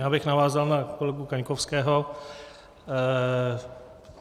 Já bych navázal na kolegu Kaňkovského.